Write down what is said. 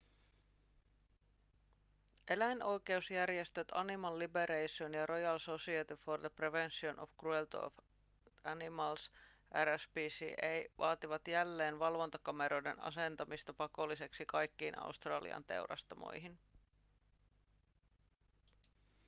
eläinoikeusjärjestöt animal liberation ja royal society for the prevention of cruelty to animals rspca vaativat jälleen valvontakameroiden asentamista pakolliseksi kaikkiin australian teurastamoihin